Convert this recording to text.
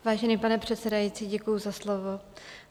Vážený pane předsedající, děkuji za slovo.